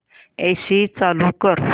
AC चालू कर